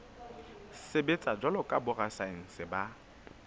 sebetsa jwalo ka borasaense ba